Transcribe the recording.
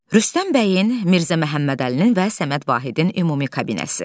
Rüstəm bəyin Mirzə Məhəmməd Əlinin və Səməd Vahidin ümumi kabineti.